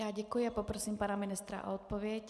Já děkuji a poprosím pana ministra o odpověď.